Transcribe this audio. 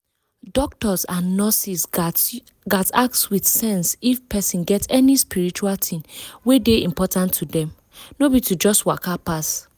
doctors and nurses gats ask with sense if person get any spiritual thing wey dey important to dem — no be to just waka pass.